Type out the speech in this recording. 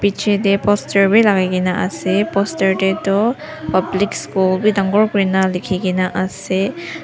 bichae tae poster bi lakai kae na ase poster tae toh public school bi dangor kurina likhikaena ase.